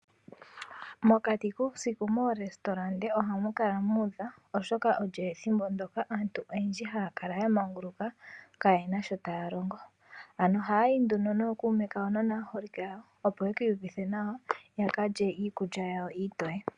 Mokati kuusiku momahala giikulya ohamu kala muudha, oshoka olyo ethimbo ndyoka aantu oyendji haya kala ya manguluka kayena sho taya longo. Ano oha yayi nduno nookume kawo no naaholike yawo ya kale iikulya yawo iitoye.